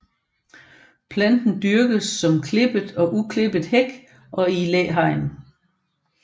Planten dyrkes som klippet og uklippet hæk og i læhegn